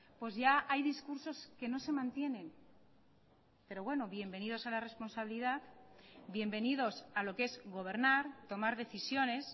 pues ya hay discursos que no se mantienen pero bueno bienvenidos a la responsabilidad bienvenidos a lo que es gobernar tomar decisiones